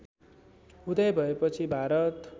उदय भएपछि भारत